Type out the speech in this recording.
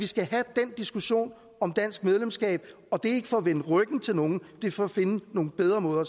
skal have den diskussion om dansk medlemskab og det er ikke for at vende ryggen til nogen det er for at finde nogle bedre måder